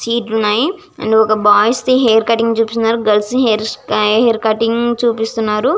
రెండు boys the hair cutting చూపిస్తున్నారు. And girls the hair cutting చూపిస్తున్నారు.